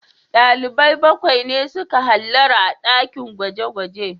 Dalibai bakwai ne suka hallara a dakin gwaje-gwaje